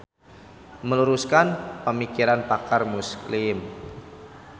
Meluruskan Pamikiran Pakar Muslim.